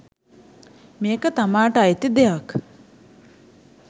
මේක තමාට අයිති දෙයක්